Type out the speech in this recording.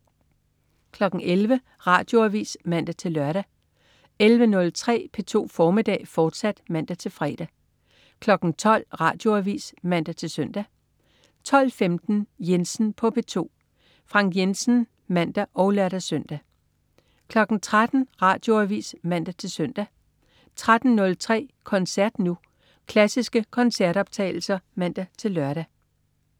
11.00 Radioavis (man-lør) 11.03 P2 formiddag, fortsat (man-fre) 12.00 Radioavis (man-søn) 12.15 Jensen på P2. Frank Jensen (man og lør-søn) 13.00 Radioavis (man-søn) 13.03 Koncert Nu. Klassiske koncertoptagelser (man-lør)